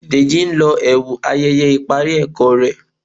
Deji n ló ẹwu ayẹyẹ ipari ẹkọ rẹ